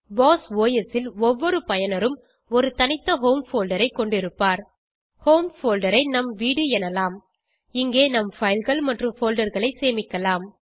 Bose OS ல் ஒவ்வொரு பயனரும் ஒரு தனித்த ஹோம் போல்டர் ஐ கொண்டிருப்பார் ஹோம் போல்டர் ஐ நம் வீடு எனலாம் இங்கே நம் fileகள் மற்றும் folderகளை சேமிக்கலாம்